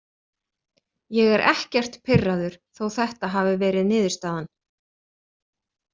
Ég er ekkert pirraður þó þetta hafi verið niðurstaðan.